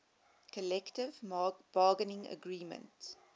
collective bargaining agreement